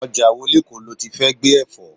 Ọjà wo lekoo loti fẹ́ gbé Ẹ̀fọ́?